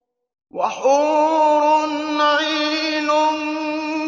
وَحُورٌ عِينٌ